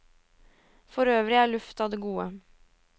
For øvrig er luft av det gode.